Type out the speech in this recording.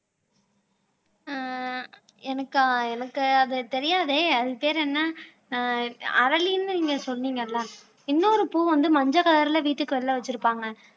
ஆஹ் எனக்கா எனக்கு அது தெரியாதே அது பேர் என்ன ஆஹ் அரளின்னு நீங்க சொன்னீங்கல்ல இன்னொரு பூ வந்து மஞ்சள் கலர்ல வீட்டுக்கு வெளியில வச்சிருப்பாங்க